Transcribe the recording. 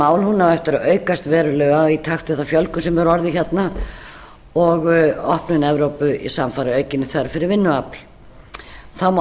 mál á eftir að aukast verulega í takt við þá fjölgun sem hefur orðið hérna og opnun evrópu samfara aukinni þörf fyrir vinnuafl þá má